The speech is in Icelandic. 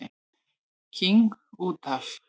King út af.